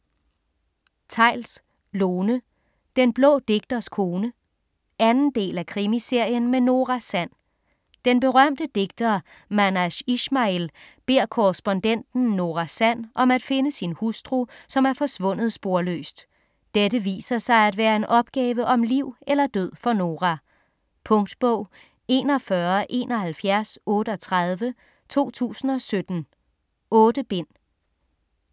Theils, Lone: Den blå digters kone 2. del af Krimiserien med Nora Sand. Den berømte digter Manash Ishmail beder korrespondenten Nora Sand om at finde sin hustru som er forsvundet sporløst. Dette viser sig at være en opgave om liv eller død for Nora. Punktbog 417138 2017. 8 bind.